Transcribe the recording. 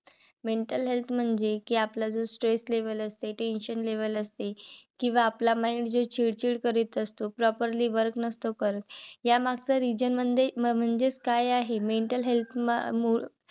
Mental health म्हणजे कि आपलं जे stress level असते. tension level असते. किंवा आपला mind जे चिडचिड करत असतो. properly work नसतो करत. या मागचा reason म्हणजे म्हणजेच काय आहे mental health म मुळ